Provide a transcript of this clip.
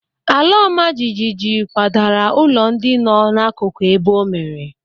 Ala ọma jijiji kwadara ụlọ ndị nọ n'akụkụ ebe o mere.